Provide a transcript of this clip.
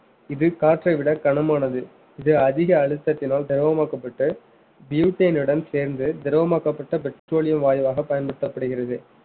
இது காற்றை விட கனமானது இது அதிக அழுத்தத்தினால் திரவமாக்கப்பட்டு butane சேர்ந்து திரவமாக்கப்பட்ட petroleum வாயுவாக பயன்படுத்தப்படுகிறது